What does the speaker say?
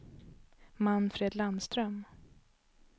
Manfred Landström